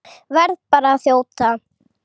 Verð bara að þjóta!